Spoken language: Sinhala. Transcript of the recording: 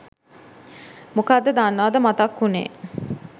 මොකද්ද දන්නවද මතක් වුණේ?